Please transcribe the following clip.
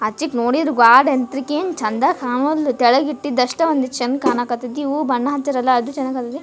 ಅಚ್ಚಿದ್ ನೋಡಿದ್ರ್ ಬಾಳ ಇದ್ದೀಕಿ ಚನ್ನಾಗ್ ಕಣವಲ್ದು ಕೆಳಗ್ ಬಿದ್ದಿದ್ ಅಸ್ಟೆ ಒಂದ್ ಚಂದ್ ಕಣಕತಿತಿ ಹೂ ಬಣ್ಣ ಹಚ್ಚಿರಲ ಅದ್ ಚಂದ ಕಣಕತಿ--